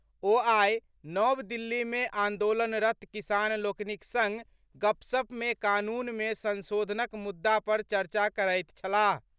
ओ आइ नव दिल्ली में आंदोलनरत् किसान लोकनिक संग गपशप मे कानून मे संशोधनक मुद्दा पर चर्चा करैत छलाह।